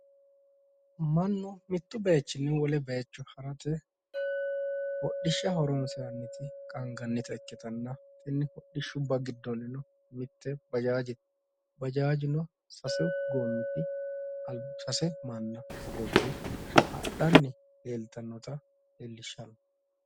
Mannu mittu baayiichinni wole baayiicho harate hodhishsha horonsirannoti qaangannite ikkitanna tenne hodhishshubba giddonnino mitte bajaajete. Bajaajeno sasu goommiti sase manna hogobbe hadhanni leeltannota leellishshanno.